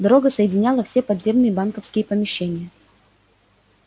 дорога соединяла все подземные банковские помещения